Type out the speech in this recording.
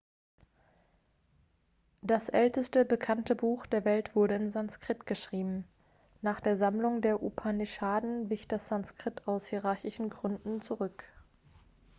das älteste bekannte buch der welt wurde in sanskrit geschrieben nach der sammlung der upanishaden wich das sanskrit aus hierarchischen gründen zurück